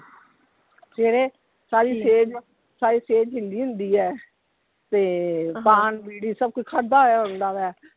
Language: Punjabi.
ਸਵੇਰੇ ਸਾਰੀ ਸੇਜ, ਸਾਰੀ ਸੇਜ ਹਿੱਲੀ ਹੁੰਦੀ ਹੈ, ਤੇ ਪਾਨ, ਬੀੜੀ ਸਭ ਕੁਝ ਖੜਾ ਹੋਇਆ ਹੁੰਦਾ ਵਾ।